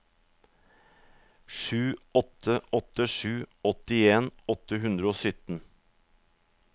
sju åtte åtte sju åttien åtte hundre og sytten